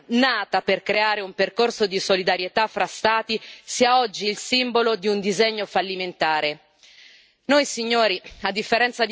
È una vergogna che l'Unione europea, nata per creare un percorso di solidarietà fra Stati, sia oggi il simbolo di un disegno fallimentare.